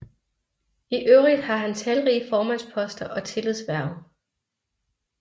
I øvrigt har han talrige formandsposter og tillidshverv